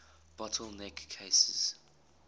bottle neck cases